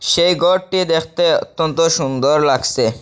সেই গরটি দেখতে অত্যন্ত সুন্দর লাগসে।